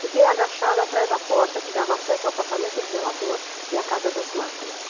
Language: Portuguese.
Fiquei agachada atrás da porta que dava acesso ao apartamento do zelador e à casa das máquinas.